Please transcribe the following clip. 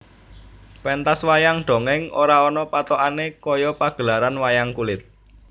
Pentas wayang dongèng ora ana pathokane kaya pagelaran wayang kulit